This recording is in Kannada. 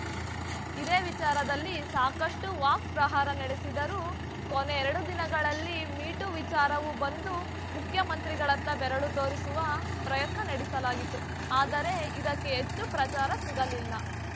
ಇದೇ ವಿಚಾರದಲ್ಲಿ ಸಾಕಷ್ಟುವಾಕ್‌ಪ್ರಹಾರ ನಡೆಸಿದರು ಕೊನೆ ಎರಡು ದಿನಗಳಲ್ಲಿ ಮೀ ಟೂ ವಿಚಾರವೂ ಬಂದು ಮುಖ್ಯಮಂತ್ರಿಗಳತ್ತ ಬೆರಳು ತೋರಿಸುವ ಪ್ರಯತ್ನ ನಡೆಸಲಾಯಿತು ಆದರೆ ಇದಕ್ಕೆ ಹೆಚ್ಚು ಪ್ರಚಾರ ಸಿಗಲಿಲ್ಲ